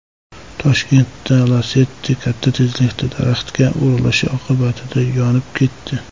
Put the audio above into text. Toshkentda Lacetti katta tezlikda daraxtga urilishi oqibatida yonib ketdi.